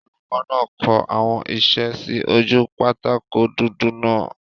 Olùkọ́ náà kọ àwọn isẹ́ sí ojú pátákó dúdú náà